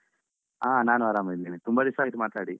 ಹಾ ನಾನು ಆರಾಮಿದ್ದೇನೆ.ತುಂಬಾದಿವ್ಸ ಆಯಿತು ಮಾತಾಡಿ.